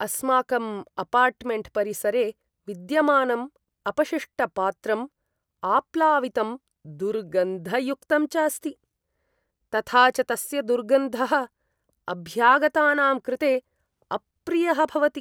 अस्माकं अपार्टमेण्ट् परिसरे विद्यमानं अपशिष्टपात्रं आप्लावितं, दुर्गन्धयुक्तं च अस्ति, तथा च तस्य दुर्गन्धः अभ्यागतानां कृते अप्रियः भवति।